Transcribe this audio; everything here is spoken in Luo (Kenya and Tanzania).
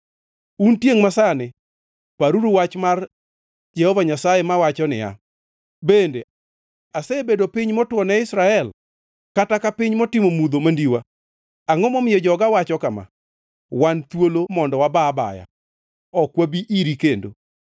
Un tiengʼ masani, paruru wach mar Jehova Nyasaye mawacho niya: “Bende asebedo piny motwo ne Israel kata ka piny motimo mudho mandiwa? Angʼo momiyo joga wacho kama: ‘Wan thuolo mondo waba abaya; ok wanabi iri kendo?’